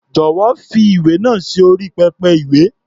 Jọ̀wọ́, fi ìwé náà sí orí pẹpẹ-ìwé.